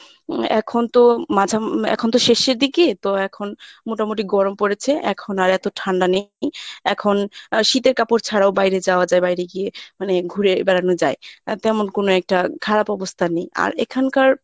উম এখন তো মাঝা~ এখন তো শেষের দিকে তো এখন মোটামুটি গরম পরেছে এখন আর এত ঠান্ডা নেই। এখন আহ শীতের কাপড় ছাড়াও বাইরে যাওয়া যায় বাইরে গিয়ে মানে ঘুরে বেড়ানো যায় আহ তেমন কোনো একটা খারাপ অবস্থা নেই আর এখানকার